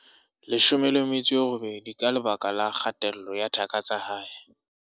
18 ka lebaka la kgatello ya thaka tsa hae.